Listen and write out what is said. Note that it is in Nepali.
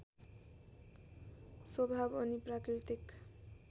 स्वभाव अनि प्राकृतिक